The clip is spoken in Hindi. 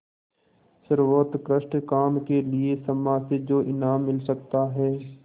सर्वोत्कृष्ट काम के लिए समाज से जो इनाम मिल सकता है